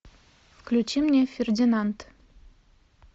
включи мне фердинанд